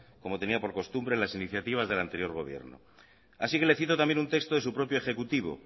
como tenía por costumbre en las iniciativas del anterior gobierno así que le cito también un texto de su propio ejecutivo